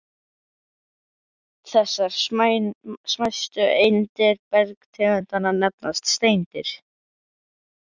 Þessar smæstu eindir bergtegundanna nefnast steindir.